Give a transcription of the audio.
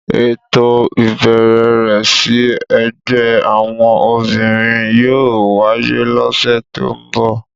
Éto ibẹrẹ rẹ si ẹgbẹ awọn obinrin yóò waye lose to nbọ.